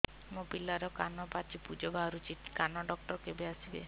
ମୋ ପିଲାର କାନ ପାଚି ପୂଜ ବାହାରୁଚି କାନ ଡକ୍ଟର କେବେ ଆସିବେ